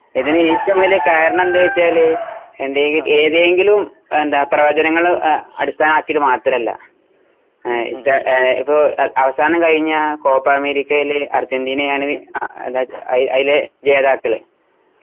ഇതിനു ഏറ്റവും വലിയ കാരണം എന്ന് വച്ചാല് ഏതെങ്കിലും എന്താ പ്രവചനങ്ങള് അടിസ്ഥാനമാക്കി മാത്രമല്ല. ഇപ്പൊ അവസാനം കഴിഞ്ഞ കോപ്പ അമേരിക്കയില് അർജന്റീനാ ആണ് അതിലെ ജേതാക്കള്.